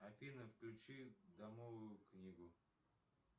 афина включи домовую книгу